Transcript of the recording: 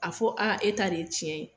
A fɔ aa e ta de ye tiɲɛ ye.